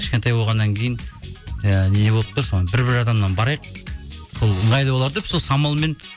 кішкентай болғаннан кейін жаңағы не болып тұр сол бір бір адамнан барайық сол ыңғайлы болар деп сол самалмен